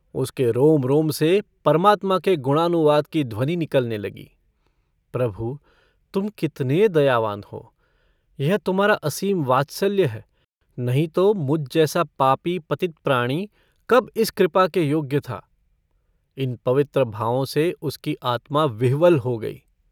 उसके रोम-रोम से परमात्मा के गुणानुवाद की ध्वनि निकलने लगी - प्रभु तुम कितने दयावान हो। यह तुम्हारा असीम वात्सल्य है नहीं तो मुझ जैसा पापी पतित प्राणी कब इस कृपा के योग्य था। इन पवित्र भावों से उसकी आत्मा विह्वल हो गई।